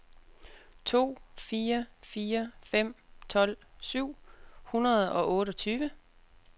to fire fire fem tolv syv hundrede og otteogtyve